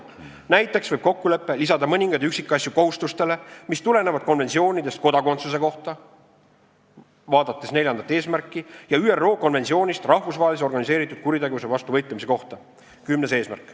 Näiteks võib kokkulepe lisada mõningaid üksikasju kohustustele, mis tulenevad konventsioonidest kodakondsuse kohta ja ÜRO konventsioonist rahvusvahelise organiseeritud kuritegevuse vastu võitlemise kohta .